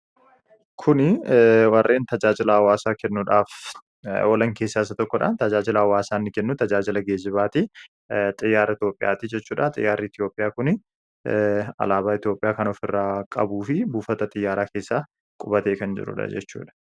Kuni warreen tajaajilaa hawasaa kenuudhaaf olaan keessa isa tokkodha. Tajajiila hawasaa inni kennu tajaajila gejibaatti. Xiyaara Itoophiyaatti. Xiyyarii Itoophiyaa kuni Alabaa Itoophiyaa kan of irra qabuufi buufata xiyaaraa keessa bufatee kan jiruudha jechuudha.